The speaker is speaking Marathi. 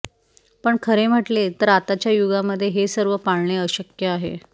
पण खरे म्हटले तर आताच्या युगामध्ये हे सर्व पाळणे अशक्य आहे